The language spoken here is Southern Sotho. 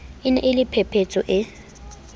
ne e le phephetso e